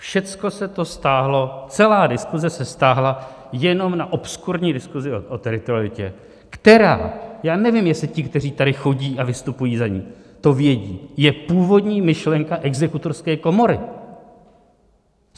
Všecko se to stáhlo, celá diskuze se stáhla jenom na obskurní diskuzi o teritorialitě, která - já nevím, jestli ti, kteří tady chodí a vystupují za ni, to vědí - je původní myšlenka Exekutorské komory.